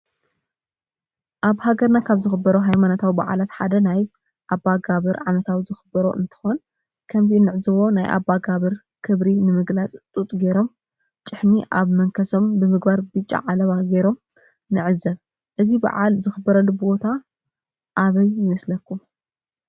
አበ ሃገር ካብ ዝክበሩ ሃይማኖታዊ በዓላት ሓዳ ናይ አባጋብ ዓመታዊ ዝክሮም እንትኮን ከምዚ እንዕዞ ድማ ናይ አባጋብር ክብሪ ንምግላፅ ጡጥ ገይሮም ጪሒም አብ መንከሶምብምግባር ብጫ ዓለባ ገይሮም ንዕዘብ እዚ በዓል ዝክበረሉ ዘሎ ቦታ አበይ ይመስለኩም?